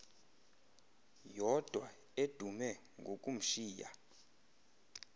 yodwa edume ngokumshiya